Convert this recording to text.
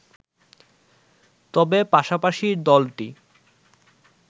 তবে পাশাপাশি দলটি